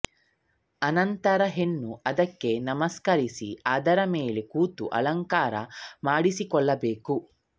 ಅಣಂತರ ಹೆಣ್ಣು ಅದಕ್ಕೆ ನಮಸ್ಕರಿಸಿ ಅದರ ಮೇಲೆ ಕೂತು ಅಳಂಕಾರ ಮಾಡಿಸಿಕೊಳ್ಳಬೇಕು